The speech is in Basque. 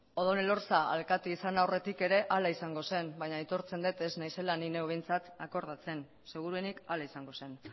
odón elorza alkatea izan aurretik ere hala izango zen baina aitortzen dut ez naizela ni neu behintzat akordatzen seguruenik hala izango zen